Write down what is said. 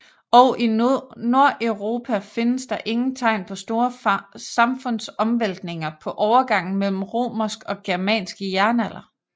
Og i Nordeuropa findes der ingen tegn på store samfundsomvæltninger på overgangen mellem romersk og germansk jernalder